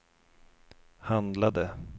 handlade